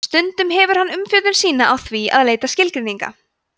stundum hefur hann umfjöllun sína á því að leita skilgreininga